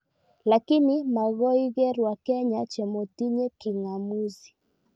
Lakini magoiker wakenya chemotinye king'amuzi